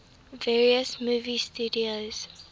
various movie studios